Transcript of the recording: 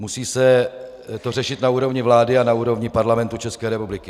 Musí se to řešit na úrovni vlády a na úrovni Parlamentu České republiky.